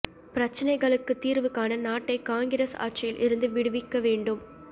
பிரச்சனைகளுக்கு தீர்வு காண நாட்டை காங்கிரஸ் ஆட்சியில் இருந்து விடுவிக்க வேண்டும்